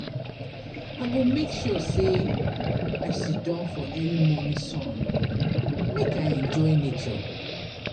I go make sure sey I siddon for early morning sun make I enjoy nature.